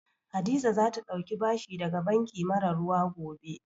Hadiza za ta ɗauki bashi daga banki mara ruwa gobe